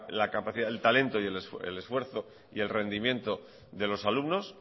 el talento el esfuerzo y el rendimiento de los alumnos